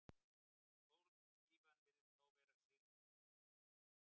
Sólskífan virðist þá vera sigð, vegna tunglsins.